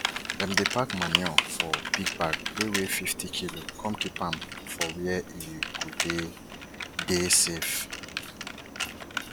dem dey pack manure for big bag wey weigh fifty kilo come keep am for where e go dey dey safe